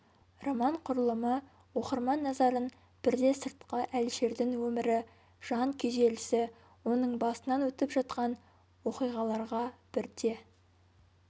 роман құрылымы оқырман назарын бірде сыртқы әлішердің өмірі жан күйзелісі оның басынан өтіп жатқан оқиғаларға бірде